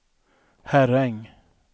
Herräng